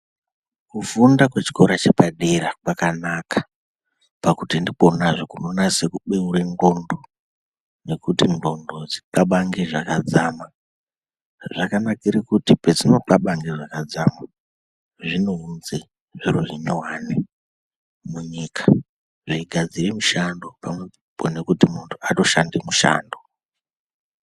Kufunda kwechikora chepadera kwakanaka pakuti ndikonazve kunonase kubeure ndxondo nekuti ndxondo dzixabange zvakadzama. Zvakanakire kuti pedzinoxabange zvakadzama, zvinounze zviro zvinyuwani munyika zveigadzire mushando pamwepo nekuti muntu atoshande mushando.